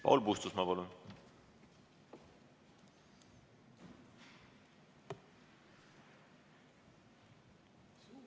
Paul Puustusmaa, palun!